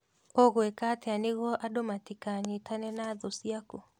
"ũgwìka atia nìguo andũ matìkanyitane na thũũ ciaku?